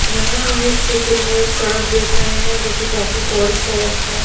यहा हम इस चित्र में एक सड़क देख रहे है जो कि काफी चौड़ी सड़क है।